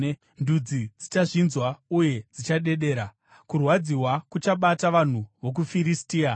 Ndudzi dzichazvinzwa uye dzichadedera; kurwadziwa kuchabata vanhu vokuFiristia.